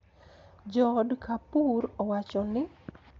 Jood Kapoor owacho ni,